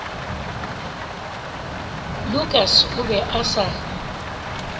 lukas o be a sa